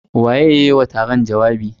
Waye ya yi wa taron jawabi?